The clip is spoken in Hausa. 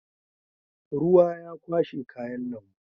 Ruwa ya kwashe kayan lambu.